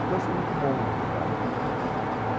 O que eu achei muito bom, na verdade, depois, né?